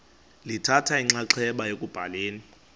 lithatha inxaxheba ekubhaleni